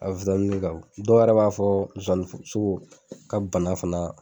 A kan o dɔw yɛrɛ b'a fɔ zozani sogo k'a bɛ bana fana